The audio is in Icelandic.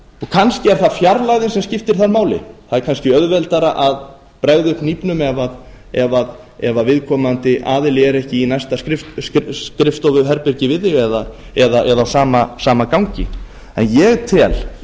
kannski er það fjarlægðin sem skiptir þar máli það er kannski auðveldara að bregða upp hnífnum ef viðkomandi aðili er ekki í næsta skrifstofuherbergi við þig eða á sama gangi en ég tel í